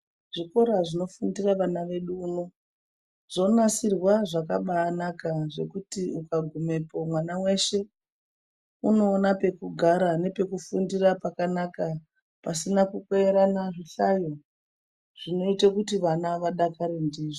Zvikora zvinofundira vana vedu muno, zvonasirwa zvakabaanaka zvekuti ukagumepo mwana weshe unoona pekugara nepekufundira pakanaka pasina kukweyerana zvihlayo, zvinoite kuti vana vadakare ndizvo.